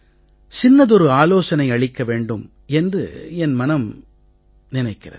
சின்னதொரு ஆலோசனை அளிக்க வேண்டும் என்று என் மனம் எண்ணமிடுகிறது